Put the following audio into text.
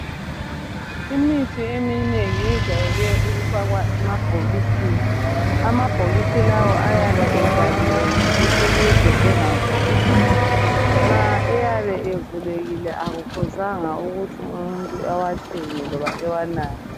Imithi eminengi yejwayele ukufakwa emabhokisini. Amabhokisi lawa ayabe evaliwe ngci ukuze engavuleki, nxa eyabe evulekile akufuzanga ukuthi umuntu ewathenge loba ewanathe.